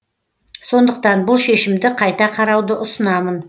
сондықтан бұл шешімді қайта қарауды ұсынамын